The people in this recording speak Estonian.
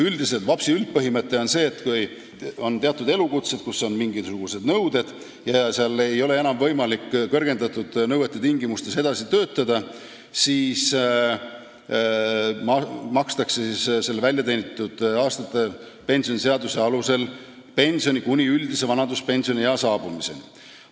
VAPS-i üldpõhimõte on see, et kui teatud elukutse esindajatele on kehtestatud mingisugused nõuded ja kui nende tõttu ei ole enam võimalik edasi töötada, siis makstakse VAPS-i alusel pensioni kuni üldise vanaduspensioniea saabumiseni.